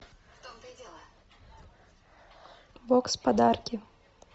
бокс подарки